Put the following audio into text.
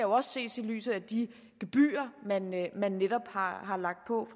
også ses i lyset af de gebyrer man netop har har lagt på